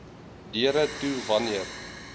deure toe wanneer